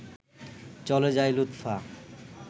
চলে যায় লুৎফা